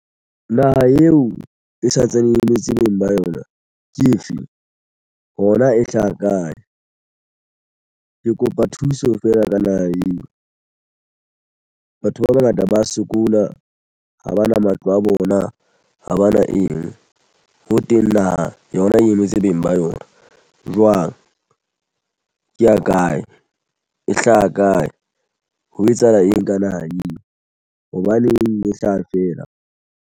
Naha eo e santsane e emetse beng ba yona ke efeng hona e hlaha kae? Ke kopa thuso feela ka naha eo. Batho ba bangata ba sokola ha ba na matlo a bona ha ba na eng ho teng naha yona eno tse beng ba yona jwang. Ke ya kae e hlaha kae ho etsahala eng ka naha eo hobaneng e hlaha feela?